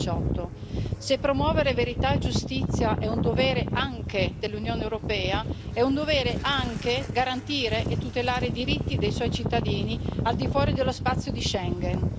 2018. Se promuovere verità e giustizia è un dovere anche dell'Unione europea, è un dovere anche garantire e tutelare i diritti dei suoi cittadini, al di fuori dello spazio di Schengen.